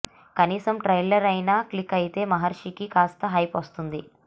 కనీసం ట్రయిలర్ అయినా క్లిక్ అయితే మహర్షికి కాస్త హైప్ వస్తుంది